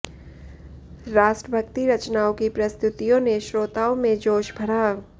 राष्ट्रभक्ति रचनाओं की प्रस्तुतियों ने श्रोताओं में जोश भरा